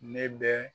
Ne bɛ